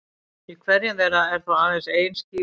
Í hverjum þeirra er þó aðeins ein skífa.